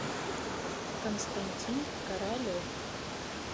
константин королев